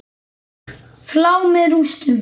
Flá með rústum.